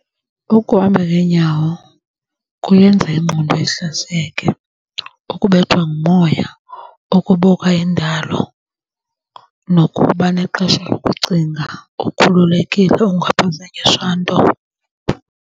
Ukuhamba ngeenyawo kuyenza ingqondo ihlaziyeke, kukubethwa ngumoya, ukubuka indalo, nokuba nexesha lokucinga ukhululekile ungaphazanyiswa nto.